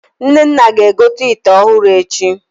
Nnenna ga-egote ịte ọhụrụ echi